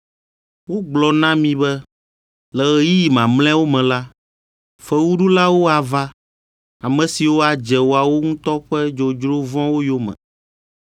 Wogblɔ na mi be, “Le ɣeyiɣi mamlɛawo me la, fewuɖulawo ava, ame siwo adze woawo ŋutɔ ƒe dzodzro vɔ̃wo yome.”